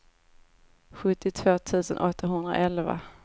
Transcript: sjuttiotvå tusen åttahundraelva